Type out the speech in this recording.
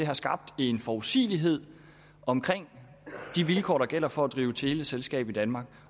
har skabt en forudsigelighed omkring de vilkår der gælder for at drive teleselskab i danmark